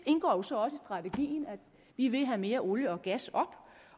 indgår så også i strategien at vi vil have mere olie og gas op